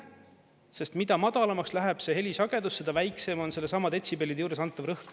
Sest mida madalamaks läheb see helisagedus, seda väiksem on sellesama detsibellide juures antav rõhk.